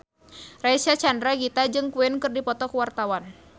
Reysa Chandragitta jeung Queen keur dipoto ku wartawan